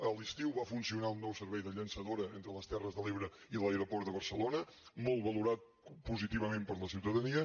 a l’estiu va funcionar un nou servei de llançadora entre les terres de l’ebre i l’aeroport de barcelona molt valorat positivament per la ciutadania